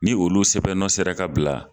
Ni olu sɛbɛnb nɔ sera ka bila